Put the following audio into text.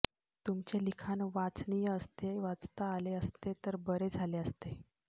तुमचे लिखाण वाचनिय असते वाचता आले असते तर बरे झाले असते